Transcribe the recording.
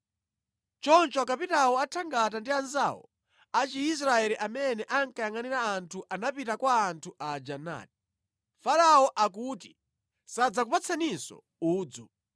Choncho akapitawo a thangata ndi anzawo a Chiisraeli amene ankayangʼanira anthu anapita kwa anthu aja nati, “ ‘Farao akuti sadzakupatsaninso udzu.